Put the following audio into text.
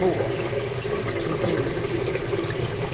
Boa, de tudo.